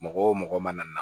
Mɔgɔ wo mɔgɔ mana na